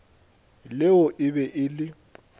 leo e be e le